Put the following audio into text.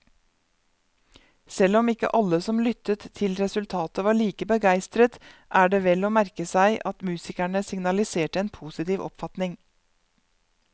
Selv om ikke alle som lyttet til resultatet var like begeistret, er det vel å merke seg at musikerne signaliserte en positiv oppfatning.